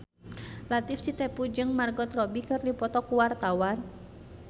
Latief Sitepu jeung Margot Robbie keur dipoto ku wartawan